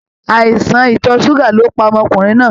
Àìsàn itọ ṣuga ló pá ọmọkùnrin náà.